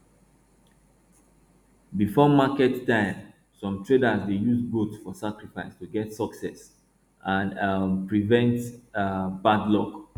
before market time some traders dey use goat for sacrifice to get success and um prevent um bad luck